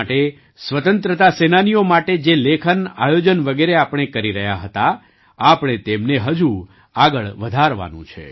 દેશ માટે સ્વતંત્રતા સેનાનીઓ માટે જે લેખનઆયોજન વગેરે આપણે કરી રહ્યા હતા આપણે તેમને હજુ આગળ વધારવાનું છે